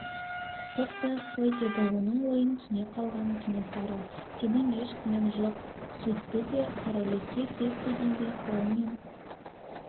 қорықпай-ақ қой деді оның ойын түсіне қалған кенесары сенің еш күнәң жоқ сөйтті де қараүлекке кет дегендей қолымен